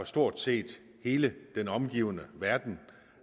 stort set hele den omgivende verden